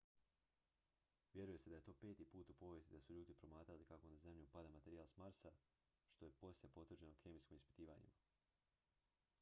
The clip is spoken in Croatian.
vjeruje se da je to peti put u povijesti da su ljudi promatrali kako na zemlju pada materijal s marsa što je poslije potvrđeno kemijskim ispitivanjima